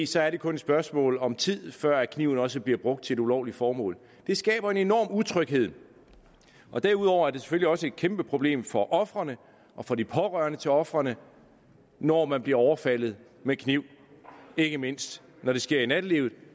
så er det kun et spørgsmål om tid før kniven også bliver brugt til et ulovligt formål det skaber en enorm utryghed derudover er det selvfølgelig også et kæmpe problem for ofrene og for de pårørende til ofrene når man bliver overfaldet med kniv ikke mindst når det sker i nattelivet